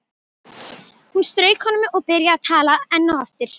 Hún strauk honum og byrjaði að tala enn og aftur.